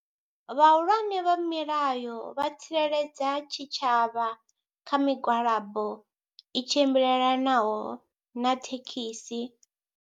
Vhahulwane vha milayo vha tsireledza tshitshavha kha migwalabo i tshimbilelanaho na thekhisi.